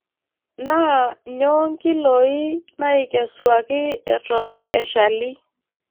Naa nyoo nkiloi naaikesuaki Eton eshali.